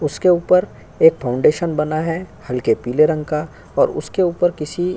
उसके ऊपर एक फाउंडेशन बना है हल्के पीले रंग का और उसके ऊपर किसी --